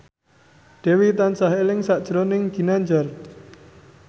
Dewi tansah eling sakjroning Ginanjar